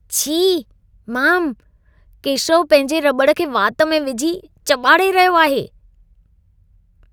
छी! मेम, केशव पंहिंजे रॿर खे वात में विझी, चॿाड़े रहियो आहे।